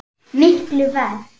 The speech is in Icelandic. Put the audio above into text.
Miklu verr.